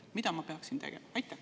Mida ma peaksin tegema?